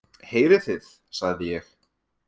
Heyrið þið, sagði ég.